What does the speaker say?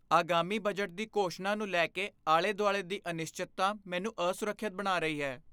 ਆਗਾਮੀ ਬਜਟ ਦੀ ਘੋਸ਼ਣਾ ਨੂੰ ਲੈ ਕੇ ਆਲੇ ਦੁਆਲੇ ਦੀ ਅਨਿਸ਼ਚਿਤਤਾ ਮੈਨੂੰ ਅਸੁਰੱਖਿਅਤ ਬਣਾ ਰਹੀ ਹੈ।